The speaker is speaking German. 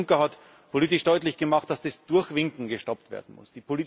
Jean Claude Juncker hat politisch deutlich gemacht, dass das Durchwinken gestoppt werden muss.